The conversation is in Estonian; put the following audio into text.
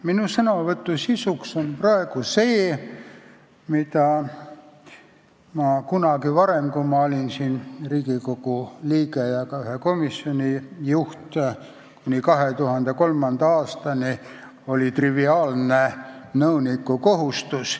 Minu sõnavõtu sisu on praegu see, mis kunagi varem, kui ma olin Riigikogu liige ja ka ühe komisjoni juht kuni 2003. aastani, oli komisjoni nõuniku triviaalne kohustus.